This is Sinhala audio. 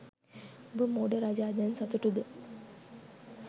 උඹ මෝඩ රජා දැන් සතුටුද?